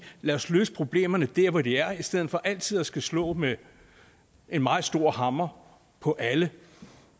lad os løse problemerne der hvor de er i stedet for altid at skulle slå med en meget stor hammer på alle